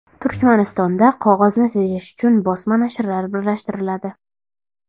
Turkmanistonda qog‘ozni tejash uchun bosma nashrlar birlashtiriladi.